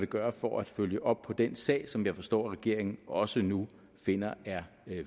gøre for at følge op på den sag som jeg forstår regeringen også nu finder er